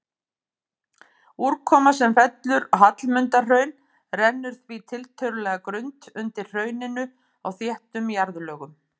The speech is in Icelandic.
Úrkoma sem fellur á Hallmundarhraun rennur því tiltölulega grunnt undir hrauninu á þéttum jarðlögum.